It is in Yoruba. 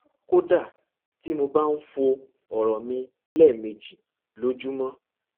kódà tí mo bá ń fọ ọrọ mi lẹẹmejì lójúmọ